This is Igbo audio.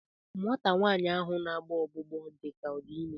Nwata nwaanyị ahụ na-agbọ ọgbụgbọ dị ka ọ dị ime